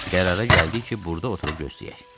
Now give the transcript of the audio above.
Qərara gəldik ki, burda oturub gözləyək.